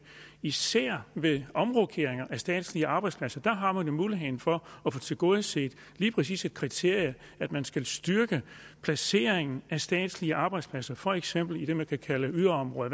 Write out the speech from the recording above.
især ved omrokeringer af statslige arbejdspladser har man jo muligheden for at få tilgodeset lige præcis det kriterium at man skal styrke placeringen af statslige arbejdspladser for eksempel i det man kan kalde yderområder